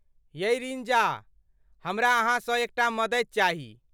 यै रिंजा, हमरा अहाँसँ एकटा मदति चाही।